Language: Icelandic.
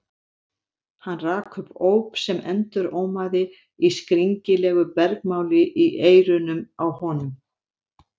Hann rak upp óp sem endurómaði í skringilegu bergmáli í eyrunum á honum.